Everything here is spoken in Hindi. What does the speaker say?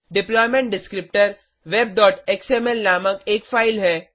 डिप्लॉयमेंट डिस्क्रिप्टर webएक्सएमएल नामक एक फाइल है